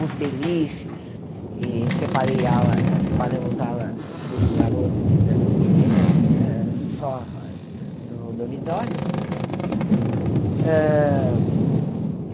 os beliches, e separei ala separamos ala dos garotos e das meninas hã, só dos dormitórios. Hã